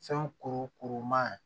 Fɛn kuru kuru maa